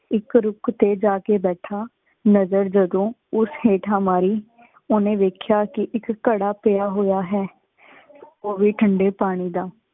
ਏਕ ਰਖੁ ਤੇ ਜਾ ਕੇ ਬੈਠਾ, ਨਜਰ ਜਦੋ ਉਸ ਹੇਂਠਾਂ ਮਾਰੀ, ਉਨੇ ਵੇਖਇਆ ਕੀ ਇਕ ਘੜਾ ਪਿਯਾ ਹੂਆ ਹੈ ਉਵੇ ਠੰਡੀ ਪਾਣੀ ਦਾ।